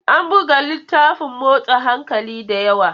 An buga littafin motsa hankali da yawa.